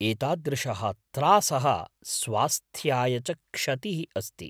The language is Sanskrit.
एतादृशः त्रासः स्वास्थ्याय च क्षतिः अस्ति ।